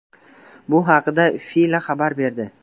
Bu haqda FILA xabar berdi .